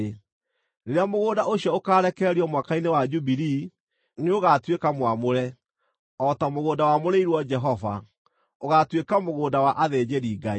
Rĩrĩa mũgũnda ũcio ũkaarekererio Mwaka-inĩ wa Jubilii, nĩũgatuĩka mwamũre, o ta mũgũnda wamũrĩirwo Jehova; ũgaatuĩka mũgũnda wa athĩnjĩri-Ngai.